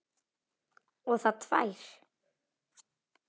Og það tvær.